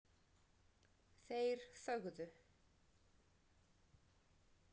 Þeir þögðu.